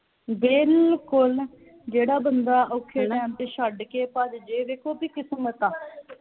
ਬਿਲਕੁਲ ਜਿਹੜਾ ਬੰਦਾ ਔਖੇ time ਤੇ ਛੱਡ ਕੇ ਭੱਜ ਜੇ ਵੇਖੋ ਉਹਦੀ ਕਿਸਮਤ ਆ